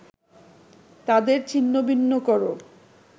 তাদের ছিন্নভিন্ন করো